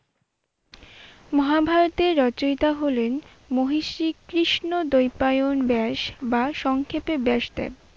মহাভারতের রচিয়তা হলেন মহর্ষি কৃষ্ণ দ্বৈপায়ন ব্যাস বা সংক্ষেপে ব্যাসদেব।